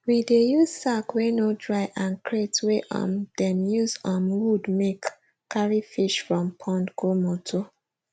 we dey use sack wey no dry and crate wey um dem use um wood make carry fish from pond go motor